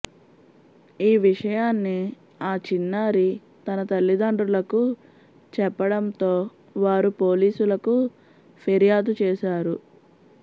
ఈ విషయాన్ని ఆ చిన్నారి తన తల్లిదండ్రులకు చెప్పడంతో వారు పోలీసులకు ఫిర్యాదుచేశారు